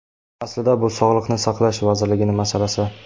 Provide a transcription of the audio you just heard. Aslida bu Sog‘liqni saqlash vazirligining masalasi.